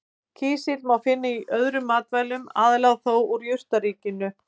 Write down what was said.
Kísil má finna í öðrum matvælum, aðallega þó úr jurtaríkinu.